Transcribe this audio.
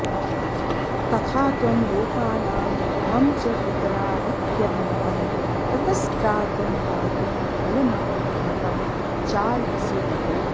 तथा त्वं लोकानां मम च पितरावित्यभिमतं ततस्त्रातुं दातुं फलमभिमतं चार्हसि विभो